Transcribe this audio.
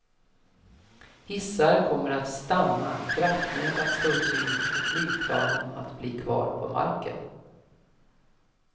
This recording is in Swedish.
Hissar kommer att stanna, kraftnät att slås ut och flygplanen att bli kvar på marken.